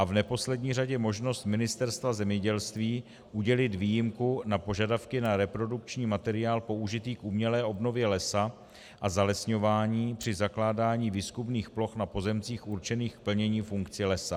A v neposlední řadě možnost Ministerstva zemědělství udělit výjimku na požadavky na reprodukční materiál použitý k umělé obnově lesa a zalesňování při zakládání výzkumných ploch na pozemcích určených k plnění funkcí lesa.